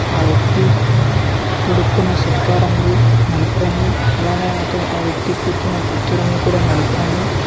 ఆ వ్యక్తి తొడుక్కున సొక్కా రంగు నలుపు రంగు అలానే అత ఆ వ్యక్తి కూర్చున్న కుర్చీ రంగు కూడా నలుపు రంగు.